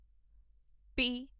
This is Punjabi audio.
ਪੀ